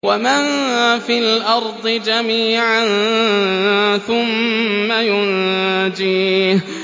وَمَن فِي الْأَرْضِ جَمِيعًا ثُمَّ يُنجِيهِ